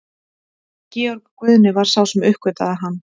Georg Guðni var sá sem uppgötvaði hann.